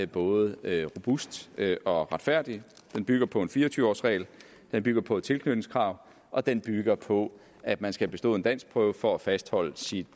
både er robust og retfærdig den bygger på en fire og tyve års regel den bygger på et tilknytningskrav og den bygger på at man skal have bestået en danskprøve for at fastholde sit